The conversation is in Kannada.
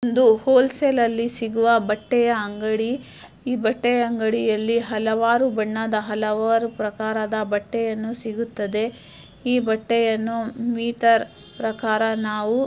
ಒಂದು ಹೋಲ್ಸೇಲ್ ಅಲ್ಲಿ ಸಿಗುವ ಬಟ್ಟೆಯ ಅಂಗಡಿ. ಈ ಬಟ್ಟೆಯ ಅಂಗಡಿಯಲ್ಲಿ ಹಲವಾರು ಬಣ್ಣದ ಹಲವಾರು ಪ್ರಕಾರದ ಬಟ್ಟೆಯನ್ನು ಸಿಗುತ್ತದೆ. ಈ ಬಟ್ಟೆಯನ್ನು ಮೀಟರ್ ಪ್ರಕಾರ ನಾವು --